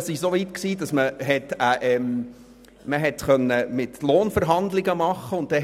Es ging so weit, dass man mir bei den Lohnverhandlungen beschied, mehr